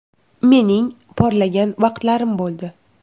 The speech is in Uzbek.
Mening porlagan vaqtlarim bo‘ldi.